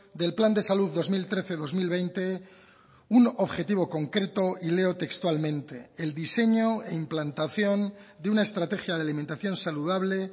del plan de salud dos mil trece dos mil veinte un objetivo concreto y leo textualmente el diseño e implantación de una estrategia de alimentación saludable